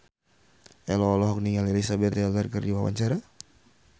Ello olohok ningali Elizabeth Taylor keur diwawancara